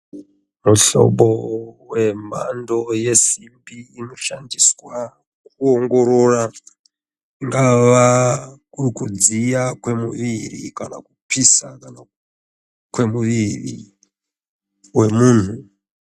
Muhlobo wembando yesimbi unoshandiswa pakuongorora kungava kuri kudziya kwemuviri kana kupisa kana kwemuviri wemunhu.